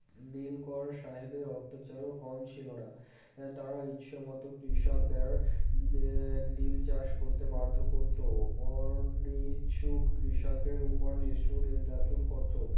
নীলকর সাহেবদের অত্যাচার ও কম ছিল না তারা ইচ্ছামতো কৃষকদের এএএ নীলচাষ করত অনিচ্ছুক কৃষকদের উপর নিষ্ঠুর নির্যাতন করত